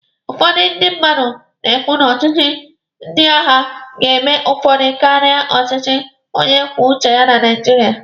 Ụfọdụ ndị mmadụ na-ekwu na ọchịchị ndị agha ga-eme ọfụma karịa ọchịchị onye kwuo uche ya na Naijiria.